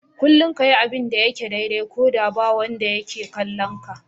Kullum ka yi abin da yake daidai, ko da ba wanda yake kallo.